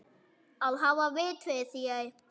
Að hafa vit fyrir þér?